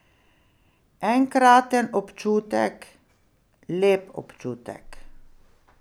Enkraten občutek, lep občutek.